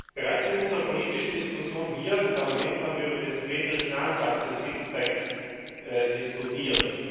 Bereits in unserer politischen Diskussion hier im Parlament haben wir über den symmetrischen Ansatz des Sixpacks diskutiert.